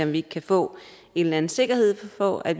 vi ikke kan få en eller anden sikkerhed for at